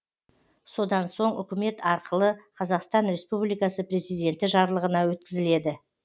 содан соң үкімет арқылы қазақстан республикасы президенті жарлығына өткізіледі